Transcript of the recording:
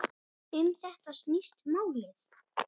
Um þetta snýst málið.